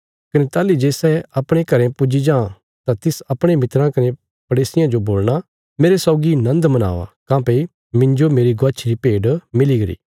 कने ताहली जे सै अपणे घरें पुज्जी जां तां तिस अपणे मित्राँ कने पड़ेसियां जो बोलणा मेरे सौगी नन्द मनावा काँह्भई मिन्जो मेरी गवाच्छी री भेड मिली गरी